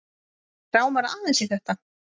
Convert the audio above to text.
Mig rámar aðeins í þetta.